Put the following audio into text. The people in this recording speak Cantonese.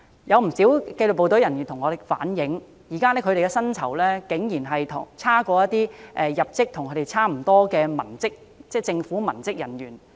有不少紀律部隊人員向我們反映，現時他們的薪酬竟然差過入職學歷要求相若的政府文職人員。